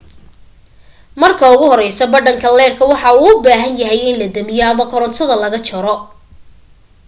marka ugu horeysa badhanka leedhka waxa uu u bahan yahay in la damiyo ama korantada laga jaro